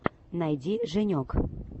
найди женек